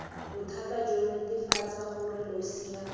bothata jo netefatsa gore losea